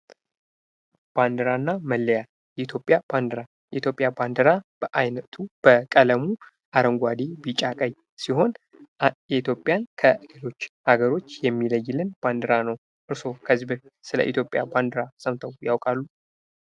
ባንዲራ እና መለያ የኢትዮጵያ ባንዲራ የኢትዮጵያ ባንዲራ በአይነቱ በቀለሙ አረንጓደ ቢጫ ቀይ ሲሆን ኢትዮጵያን ከሌሎች ሃገሮች የሚለይልን ባንዲራ ነው ።እርስዎ ከዚህ በፊት ስለ የኢትዮጵያ ባንዲራ ሰምተው ያውቃሉ?